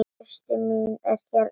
Systir mín er hérna líka.